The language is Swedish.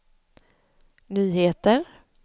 nyheter